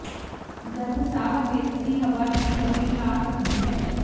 ਜਦ ਸਾਹ ਵਿਅਕਤੀ ਹਵਾ ਦੀ ਕਮੀ ਆ ਸਕਦੀ ਹੈ